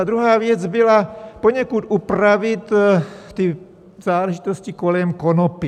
A druhá věc byla poněkud upravit ty záležitosti kolem konopí.